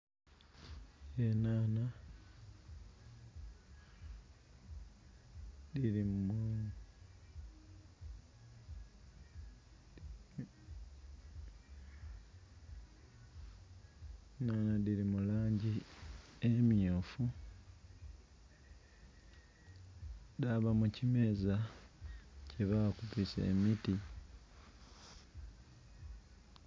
Enhanha dhili mulangi emyufu dhaba mu kimeza kye bakubisa emiti.